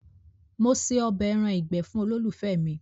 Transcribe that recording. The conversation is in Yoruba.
Mo ṣe ọbẹ̀ ẹran ìgbé fun olólùfẹ́ mi.